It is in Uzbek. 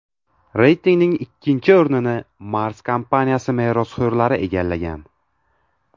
Reytingning ikkinchi o‘rnini Mars kompaniyasi merosxo‘rlari egallagan.